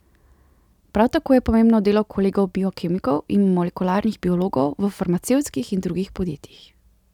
Prav tako je pomembno delo kolegov biokemikov in molekularnih biologov v farmacevtskih in drugih podjetjih.